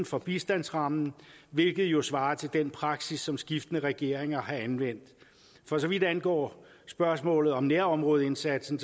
for bistandsrammen hvilket jo svarer til den praksis som skiftende regeringer har anvendt for så vidt angår spørgsmålet om nærområdeindsatsen